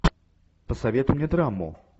посоветуй мне драму